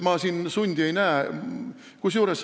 Ma siin sundi ei näe.